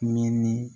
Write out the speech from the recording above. Minni